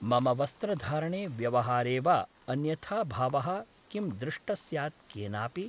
मम वस्त्रधारणे व्यवहारे वा अन्यथाभावः किं दृष्टः स्यात् केनापि ?